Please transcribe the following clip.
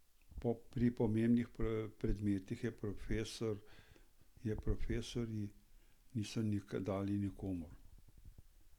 Pri pomembnih predmetih je profesorji niso dali nikomur.